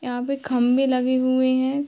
यहाँ पे खंभे लगे हुए है।